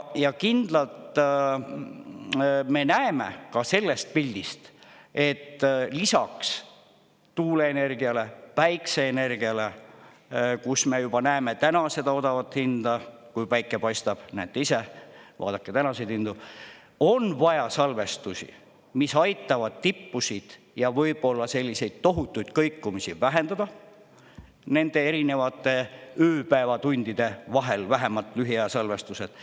Ja kindlalt me näeme ka sellest pildist, et lisaks tuuleenergiale, päikeseenergiale, kus me juba näeme täna seda odavat hinda, kui päike paistab – näete ise, vaadake tänaseid hindu –, on vaja salvestusi, mis aitavad tippusid ja võib-olla selliseid tohutuid kõikumisi vähendada nende erinevate ööpäevatundide vahel, vähemalt lühiaja salvestused.